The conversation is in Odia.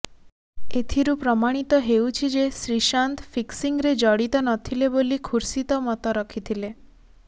ଏଥିରୁ ପ୍ରମାଣିତ ହେଉଛି ଯେ ଶ୍ରୀଶାନ୍ତ ଫିକ୍ସିଂରେ ଜଡ଼ିତ ନଥିଲେ ବୋଲି ଖୁର୍ସିଦ ମତ ରଖିଥିଲେ